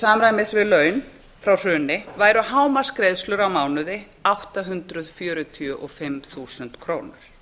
samræmis við laun frá hruni væru hámarksgreiðslur á mánuði átta hundruð fjörutíu og fimm þúsund krónur